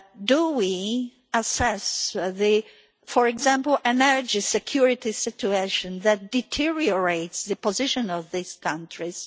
Do we assess, for example, the energy security situation that deteriorates the position of these countries?